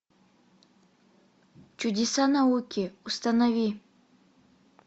чудеса науки установи